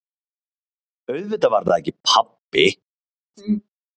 Auðvitað var það ekki pabbi!